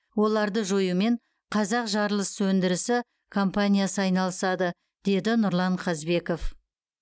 оларды жоюмен қазақжарылысөндірісі компаниясы айналысады деді нұрлан қазбеков